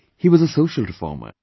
He was a social reformer